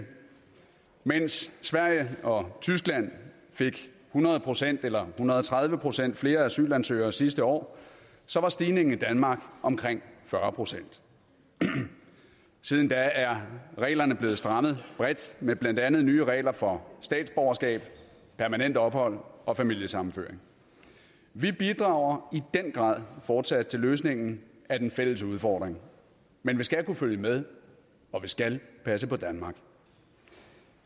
mens sverige og tyskland fik hundrede procent eller hundrede og tredive procent flere asylansøgere sidste år var stigningen i danmark omkring fyrre procent siden da er reglerne blevet strammet bredt med blandt andet nye regler for statsborgerskab permanent ophold og familiesammenføring vi bidrager i den grad fortsat til løsningen af den fælles udfordring men man skal kunne følge med og vi skal passe på danmark